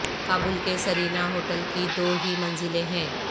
کابل کے Serena hotel کی دو ہی منزلیں ہیں